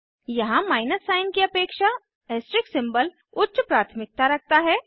यहाँ minus sign की अपेक्षा ऐस्ट्रिस्क सिंबल उच्च प्राथमिकता रखता है